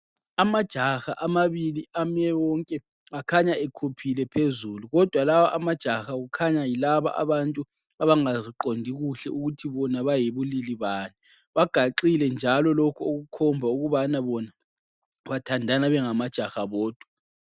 Amajaha amabili amewonke akhanya ekhuphile phezulu. Kodwa lawa amajaha kukhanya yilaba abantu abangaziqondi kuhle ukuthi bona bayibulili bani. Bagaxile njalo lokhu okukhomba ukuthi bona bathandana bengamajaha bodwa.